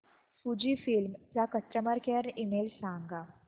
Fujifilm चा customer care email सांगा